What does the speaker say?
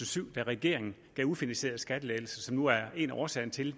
syv da regeringen gav ufinansierede skattelettelser som nu er en af årsagerne til